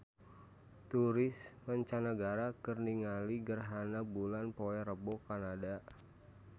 Turis mancanagara keur ningali gerhana bulan poe Rebo di Kanada